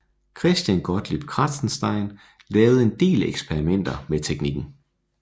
Christian Gottlieb Kratzenstein lavede en del eksperimenter med teknikken